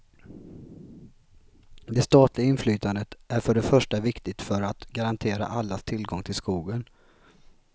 Det statliga inflytandet är för det första viktigt för att garantera allas tillgång till skogen.